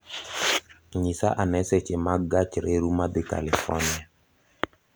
Nyisa ane seche mag gach reru madhi California